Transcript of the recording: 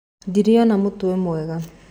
Ndĩrĩona mũtwe mwega.